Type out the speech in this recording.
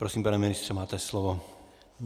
Prosím, pane ministře, máte slovo.